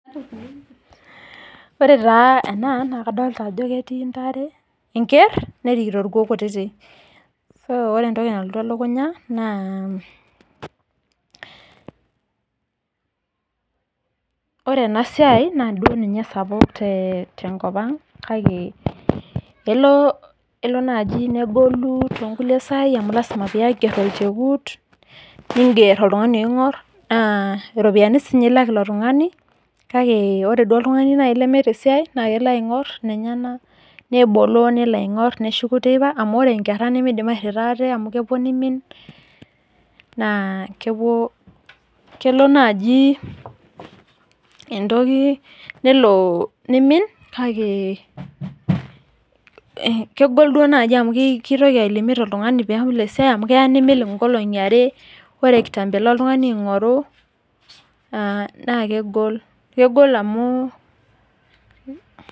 Ore taa ena nakadolta ajo ketii ntare, enker nerikito irkuon kutitik. Ore entoki nalotu elukunya naa, ore enasiai naduo ninye esapuk tenkop ang kake elio naji negolu tonkulie sai amu lasima pee aiger olchekut, niger oltung'ani oing'or, naa iropiyiani sinye ilak ilo tung'ani, kake ore duo nai oltung'ani lemeeta esiai, na kelo ake aing'or inenyanak, neboloo nelo aing'or neshuku teipa, amu ore nkerra nimidim airrita ate amu kepuo nimin, naa kepuo kelo naji entoki nelo nimin, kake kegol duo naji amu kitoki ai limit oltung'ani pelo esiai, amu keya nemelo nkolong'i are, ore kitambo elo oltung'ani aing'oru naa kegol, kegol amu